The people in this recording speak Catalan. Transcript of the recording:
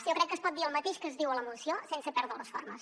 jo crec que es pot dir el mateix que es diu a la moció sense perdre les formes